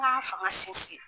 N ka fanga sinsin.